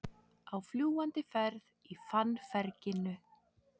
Á fljúgandi ferð í fannferginu